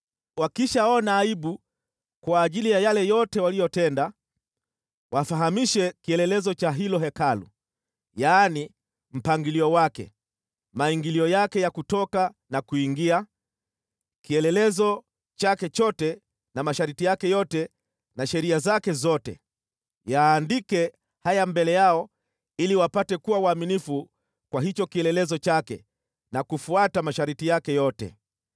Wakishaona aibu kwa ajili ya yale yote waliyotenda, wafahamishe kielelezo cha hilo Hekalu, yaani mpangilio wake, maingilio yake ya kutoka na kuingia, kielelezo chake chote, na masharti yake yote na sheria zake zote. Yaandike haya mbele yao ili wapate kuwa waaminifu kwa hicho kielelezo chake na kufuata masharti yake yote.